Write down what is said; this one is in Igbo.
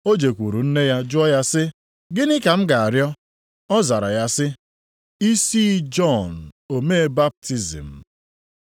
Ọ jekwuru nne ya jụọ ya sị, “Gịnị ka m ga-arịọ?” Ọ zara ya sị, “Isi Jọn omee baptizim.”